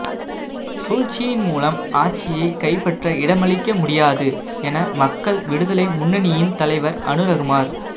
சூழ்ச்சியின் மூலம் ஆட்சியை கைப்பற்ற இடமளிக்க முடியாது என மக்கள் விடுதலை முன்னணியின் தலைவர் அனுரகுமார